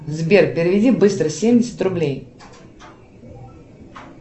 сбер переведи быстро семьдесят рублей